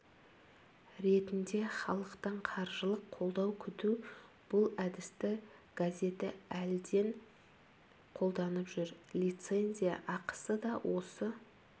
ретінде халықтан қаржылық қолдау күту бұл әдісті газеті әлден қолданып жүр лицензия ақысы да осы